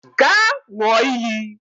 Gaa ṅụọ iyi